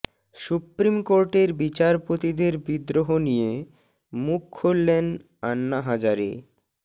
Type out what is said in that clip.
supreme কোর্টের বিচারপতিদের বিদ্রোহ নিয়ে মুখ খুললেন আন্না হাজারে